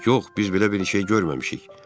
Yox, biz belə bir şey görməmişik.